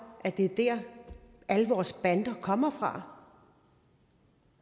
at det er der alle vores bander kommer fra der